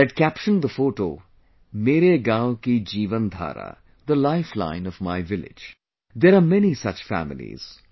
They had captioned the photo 'मेरेगाँवकीजीवनधारा' the lifeline of my village, there are many such families